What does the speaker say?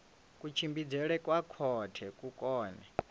kutshimbidzelwe kwa khothe ku kone